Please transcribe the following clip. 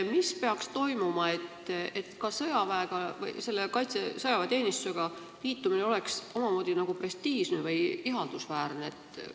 Mis peaks juhtuma, et sõjaväeteenistusega liitumine oleks omamoodi prestiižne või ihaldusväärne?